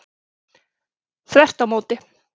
Þvert á móti.